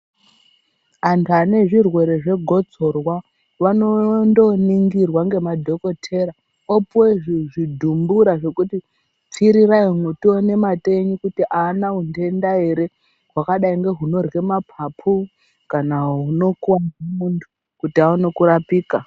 Antu anezvirwere zvegotsorwa vanondoningirwa ngemadhokotera, vopiwa zvidhumbura zvekuti pfirirai umu tione mate enyu kuti haana unhenda ere, hwakadai ngeunorye maphapu kana huno kore muntu kuti awone kurapika